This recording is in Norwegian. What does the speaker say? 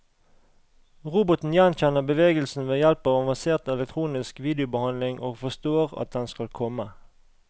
Roboten gjenkjenner bevegelsen ved hjelp av avansert elektronisk videobehandling og forstår at den skal komme.